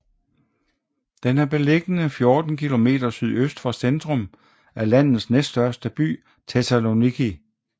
Den er beliggende 14 kilometer sydøst for centrum af landets næststørste by Thessaloniki